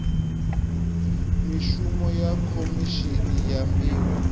mishumo ya khomishini ya mbilo